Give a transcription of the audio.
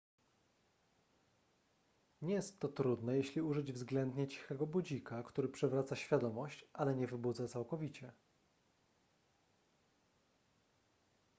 nie jest to trudne jeśli użyć względnie cichego budzika który przywraca świadomość ale nie wybudza całkowicie